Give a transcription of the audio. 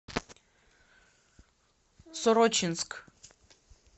сорочинск